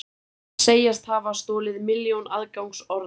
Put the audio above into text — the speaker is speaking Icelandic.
Segjast hafa stolið milljón aðgangsorðum